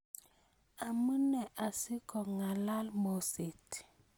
Amunee asikong'alal moseet?